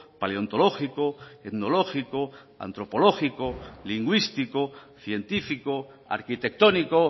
paleontológico etnológico antropológico lingüístico científico arquitectónico